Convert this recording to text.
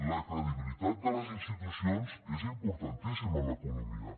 la credibilitat de les institucions és importantíssima en l’economia